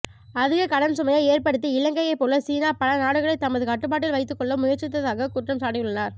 அதிக கடன் சுமையை ஏற்படுத்தி இலங்கையைப்போல சீனா பல நாடுகளை தமது கட்டுப்பாட்டில் வைத்துக்கொள்ள முயற்சிக்கிறதாக குற்றம் சாட்டியுள்ளார்